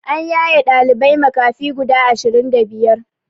An yaye ɗalibai makafi guda ashirin da biyar